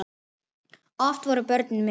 Oft voru börnin með.